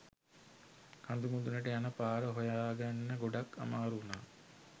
කඳු මුඳුනට යන පාර හොයාගන්න ගොඩක් අමාරු වුනා